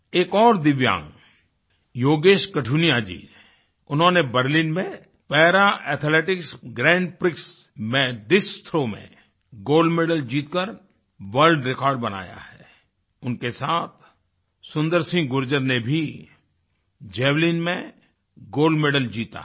एक और दिव्यांग योगेश कठुनिया जी ने उन्होंने बर्लिन में पैरा एथलेटिक्स ग्रैंड प्रिक्स में डिस्कस थ्रो में गोल्ड मेडल जीतकर वर्ल्ड रेकॉर्ड बनाया है उनके साथ सुंदर सिंह गुर्जर ने भी जावेलिन में गोल्ड मेडल जीता है